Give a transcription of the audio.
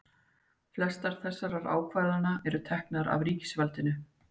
flestar þessara ákvarðana eru teknar af ríkisvaldinu